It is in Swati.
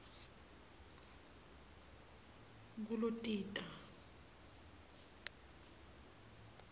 kulotita